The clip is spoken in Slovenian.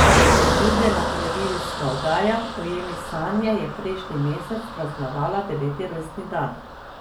Priljubljena televizijska oddaja Ujemi sanje je prejšnji mesec praznovala deveti rojstni dan.